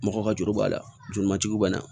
Mɔgɔ ka juru b'a la joli mantigi b'a la